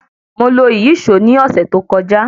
Mo lo ìyíṣòó ní ọ̀sẹ̀ tó kọjá.